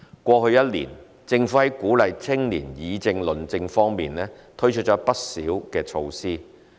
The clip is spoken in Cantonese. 過去1年，政府在鼓勵青年議政論政方面推出了不少措施。